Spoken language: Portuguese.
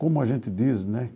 Como a gente diz, né?